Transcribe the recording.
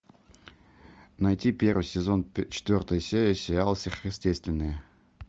найти первый сезон четвертая серия сериала сверхъестественное